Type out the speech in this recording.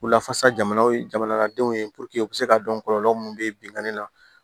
U lafasa jamanaw ye jamanadenw ye u bɛ se k'a dɔn kɔlɔlɔ minnu bɛ binkani la